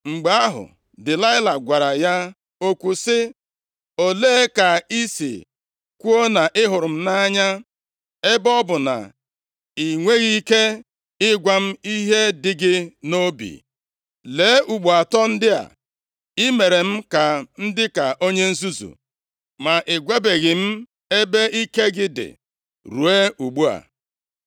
Mgbe ahụ, Delaịla gwara ya okwu sị, “Olee ka i si kwuo na ị hụrụ m nʼanya, ebe ọ bụ na i nweghị ike ịgwa m ihe dị gị nʼobi? Lee, ugbo atọ ndị a, i mere m ka m dịka onye nzuzu, ma ị gwabeghị m ebe ike gị dị ruo ugbu a.”